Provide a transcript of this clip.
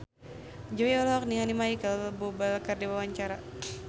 Jui olohok ningali Micheal Bubble keur diwawancara